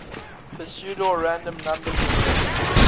pseudorandom number generators